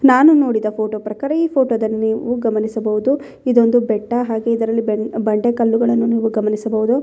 ನಾನು ನೋಡಿದ ಈ ಫೋಟೋ ಪ್ರಕಾರ ಈ ಫೋಟೋದಲ್ಲಿ ನೀವು ಗಮನಿಸಬಹುದು ಇದೊಂದು ಬೆಟ್ಟ ಹಾಗೆ ಇದರಲ್ಲಿ ಬೆನ್ ಬಂಡೆ ಕಲ್ಲುಗಳನ್ನು ನೀವು ಗಮನಿಸಬಹುದು.